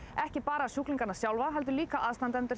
ekki bara sjúklinga heldur líka aðstandendur